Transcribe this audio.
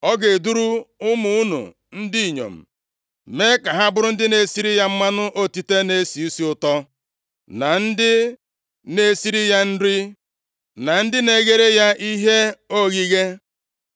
Ọ ga-eduru ụmụ unu ndị inyom mee ka ha bụrụ ndị na-esiri ya mmanụ otite na-esi isi ụtọ, na ndị na-esiri ya nri, na ndị na-eghere ya ihe oghịghe.